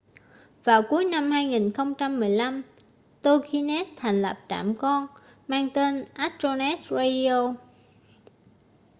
vào cuối năm 2015 toginet thành lập trạm con mang tên astronet radio